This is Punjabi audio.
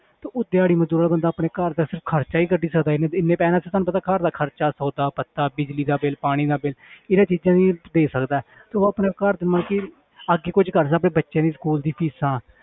ਤੇ ਉਹ ਦਿਹਾੜੀ ਮਜ਼ਦੂਰ ਵਾਲਾ ਬੰਦਾ ਆਪਣੇ ਘਰ ਦਾ ਸਿਰਫ਼ ਖ਼ਰਚਾ ਹੀ ਕੱਢ ਸਕਦਾ ਇੰਨੇ ਇੰਨੇ ਪੈਸਿਆਂ ਨਾਲ ਤੇ ਤੁਹਾਨੂੰ ਪਤਾ ਘਰ ਦਾ ਖ਼ਰਚਾ ਸੌਦਾ ਪੱਤਾ ਬਿਜ਼ਲੀ ਦਾ ਬਿੱਲ ਪਾਣੀ ਦਾ ਬਿੱਲ ਇਹਨਾਂ ਚੀਜ਼ਾਂ ਦਾ ਹੀ ਦੇ ਸਕਦਾ ਹੈ ਤੇ ਉਹ ਆਪਣੇ ਘਰ ਦੇ ਮਤਲਬ ਕਿ ਅੱਗੇ ਕੁੱਝ ਕਰਦਾ ਵੀ ਬੱਚੇ ਦੇ school ਦੀ ਫ਼ੀਸਾਂ